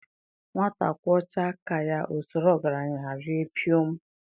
Nwata kwọchaa aka ya o soro ọgaranya raa pịọm